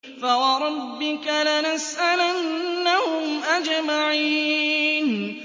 فَوَرَبِّكَ لَنَسْأَلَنَّهُمْ أَجْمَعِينَ